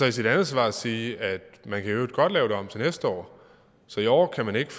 i sit andet svar sige at man i øvrigt godt kan lave det om til næste år så i år kan man ikke